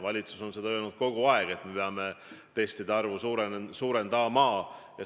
Valitsus on öelnud kogu aeg, et me peame testide arvu suurendama.